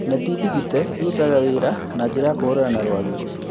neti ndigite irutaga wira na njĩra ya kũhũrana na rwagĩ